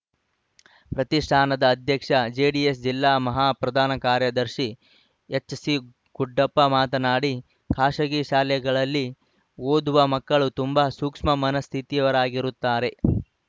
ಪ್ರತಿಷ್ಟಾನದ ಅಧ್ಯಕ್ಷ ಜೆಡಿಎಸ್‌ ಜಿಲ್ಲಾ ಮಹಾ ಪ್ರಧಾನ ಕಾರ್ಯದರ್ಶಿ ಎಚ್‌ಸಿಖುಡ್ಡಪ್ಪ ಮಾತನಾಡಿ ಖಾಸಗಿ ಶಾಲೆಗಳಲ್ಲಿ ಓದುವ ಮಕ್ಕಳು ತುಂಬಾ ಸೂಕ್ಷ್ಮ ಮನಸ್ಥಿತಿಯವರಾಗಿರುತ್ತಾರೆ